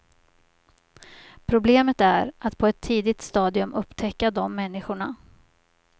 Problemet är att på ett tidigt stadium upptäcka de människorna.